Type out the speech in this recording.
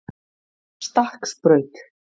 Stakksbraut